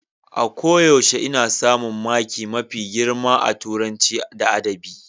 A koyaushe ina samun maki mafi girma a Turanci da Adabi.